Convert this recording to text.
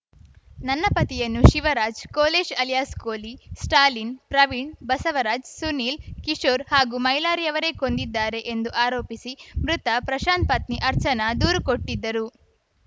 ನನ್ನ ಪತಿಯನ್ನು ಶಿವರಾಜ್‌ ಕೋಲೇಶ್‌ ಅಲಿಯಾಸ್‌ ಕೋಲಿ ಸ್ಟಾಲಿನ್‌ ಪ್ರವೀಣ್‌ ಬಸವರಾಜ್ ಸುನೀಲ್‌ ಕಿಶೋರ್‌ ಹಾಗೂ ಮೈಲಾರಿ ಅವರೇ ಕೊಂದಿದ್ದಾರೆ ಎಂದು ಆರೋಪಿಸಿ ಮೃತ ಪ್ರಶಾಂತ್‌ ಪತ್ನಿ ಅರ್ಚನಾ ದೂರು ಕೊಟ್ಟಿದ್ದರು